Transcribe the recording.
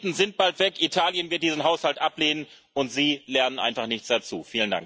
Die Briten sind bald weg, Italien wird diesen Haushalt ablehnen, und Sie lernen einfach nichts dazu.